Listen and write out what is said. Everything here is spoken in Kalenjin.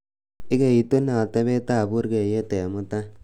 igeitunee otebet ab burgeiyet en mutai